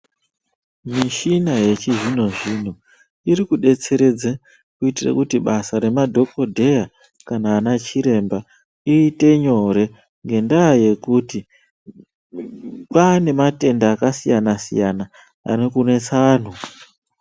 Mushina yechizvinozvino iri kudedzeredza kuitira kuti basa remadhokodheya kana ana chiremba iite nyore nendaa yekuti kwane matenda akasiyana siyana Ari kunetsa antu.